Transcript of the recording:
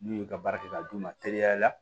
N'u y'u ka baara kɛ k'a d'u ma teliya la